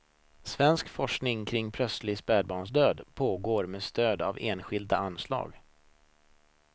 Svensk forskning kring plötslig spädbarnsdöd pågår med stöd av enskilda anslag.